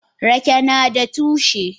Rake nada tushe.